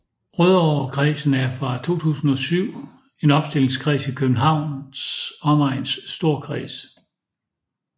Rødovrekredsen er fra 2007 en opstillingskreds i Københavns Omegns Storkreds